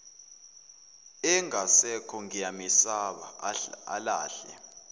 engasekho ngiyamesaba alahle